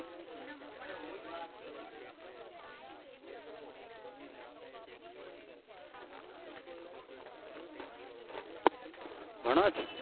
ભણો છો?